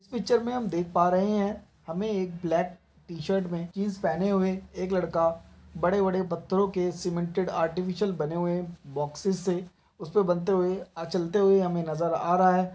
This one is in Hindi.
इस पिक्चर हम देख पा रहे है हमे एक ब्लैक टी-शर्ट मे जीन्स पहने हुए एक लड़का बड़े बड़े पत्थरों के सिमेंटेड आर्टिफिसियल बने हुए बोक्सेस से उसपे बनते हुए चलते हुए नजर आ रहा है।